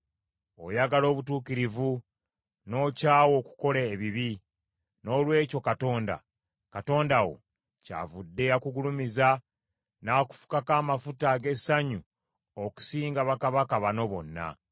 Oyagala obutuukirivu n’okyawa okukola ebibi; noolwekyo Katonda, Katonda wo, kyavudde akugulumiza n’akufukako amafuta ag’essanyu okusinga bakabaka banno bonna.